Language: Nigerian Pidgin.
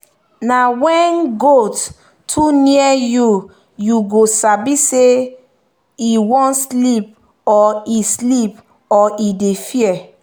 na when goat too near youyou go sabi say e one sleep or e sleep or e dey fear